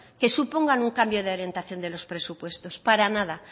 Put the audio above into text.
que supongan un cambio de orientación de los presupuestos para nada